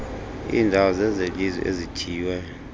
iindawo zezelizwe ezithiywe